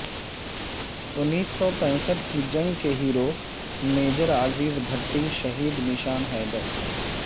انیس سو پینسٹھ کی جنگ کےہیرو میجر عزیز بھٹی شہید نشان حیدر